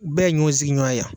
Bɛɛ ye ɲɔgɔn sigiɲɔgɔn ye yan.